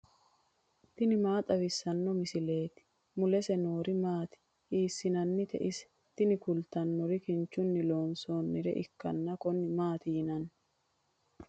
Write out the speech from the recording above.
tini maa xawissanno misileeti ? mulese noori maati ? hiissinannite ise ? tini kultannori kinchunni loonsoonnire ikkanna konne maati yinanni.